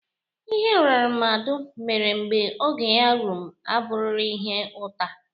Ihe rnrnadu mere mgbe oge ya rum abughiiri ihe uta.